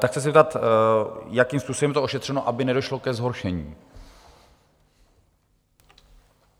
Tak se chci zeptat, jakým způsobem je to ošetřeno, aby nedošlo ke zhoršení?